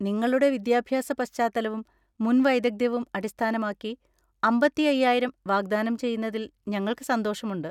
നിങ്ങളുടെ വിദ്യാഭ്യാസ പശ്ചാത്തലവും മുൻ വൈദഗ്ധ്യവും അടിസ്ഥാനമാക്കി അമ്പത്തി അയ്യായിരം വാഗ്ദാനം ചെയ്യുന്നതിൽ ഞങ്ങൾക്ക് സന്തോഷമുണ്ട്.